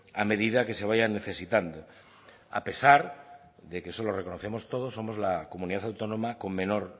a medida que se vayan necesitando a pesar de que eso lo reconocemos todos somos la comunidad autónoma con menor